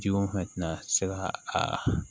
Jiko fɛn tɛna se ka a